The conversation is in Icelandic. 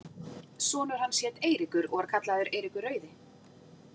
Sonur hans hét Eiríkur og var kallaður Eiríkur rauði.